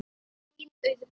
Þín Auður Björg.